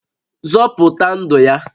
Zọpụta ndụ ya!